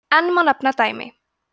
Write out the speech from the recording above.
enn má nefna dæmi